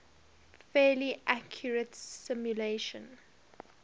fairly accurate simulation